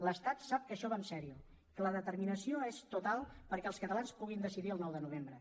l’estat sap que això va seriosament que la determinació és total perquè els catalans puguin decidir el nou de novembre